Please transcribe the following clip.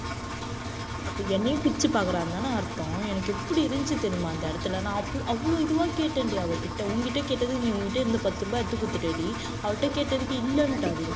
அப்ப என்னையும் பிரிச்சு பார்க்கிறான்னுதானே அர்த்தம். எனக்கு எப்படி இருந்துச்சு தெரியுமா அந்த இடத்துல நான் அவ்வளவு இதுவா கேட்டேன்டி அவகிட்ட உன்கிட்ட கேட்டதுக்கு நீ உன்கிட்ட இருந்த பத்து ரூபாய் எடுத்து கொடுத்துட்டேடி அவகிட்ட கேட்டதுக்கு இல்லன்னுட்டாடி டக்குனு என்கிட்ட தெரியல நான்